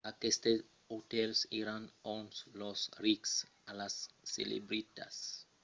aquestes otèls èran ont los rics e las celebritats del jorn demoravan e avián sovent una cosina e una vida nocturna rafinadas